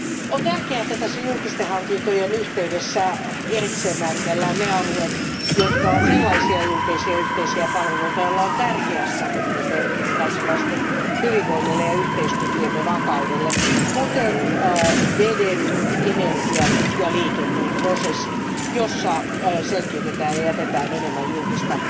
on tärkeää, että tässä julkisten hankintojen yhteydessä erikseen määritellään ne alueet, jotka ovat sellaisia julkisia yhteisiä palveluja, joilla on tärkeä strateginen merkitys kansalaisten hyvinvoinnille ja yhteiskuntiemme vakaudelle, kuten veden, energian ja liikenteen prosessit, joissa selkiytetään ja jätetään enemmän julkista